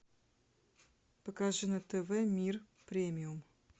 покажи на тв мир премиум